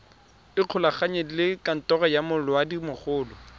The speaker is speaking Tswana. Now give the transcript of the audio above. ikgolaganye le kantoro ya molaodimogolo